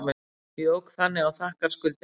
Jók þannig á þakkarskuldina.